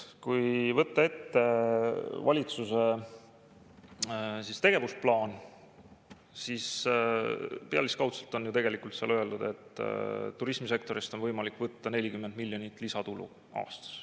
Kui võtta ette valitsuse tegevusplaan, siis pealiskaudselt on tegelikult öeldud, et turismisektorist on võimalik võtta 40 miljonit lisatulu aastas.